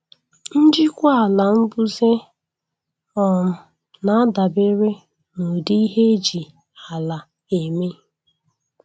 Njikwa ala mbuze um na-adabere n'ụdị ihe eji ala eme